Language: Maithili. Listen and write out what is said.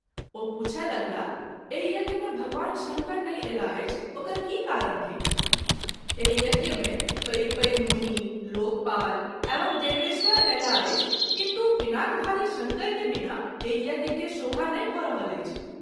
ओ पूछय लगलाह एहियज्ञ मे भगवान शंकर नहि अयलाह अछि ओकर की कारण थिक ? एहि यज्ञ मे पैध-पैघ मुनि, लोकपाल एवं देवेशवर अयलाह अछि किन्तु पिनाकधारी शंकर के बिना एहि यज्ञ के शोभा नहिं भ’ रहल अछि।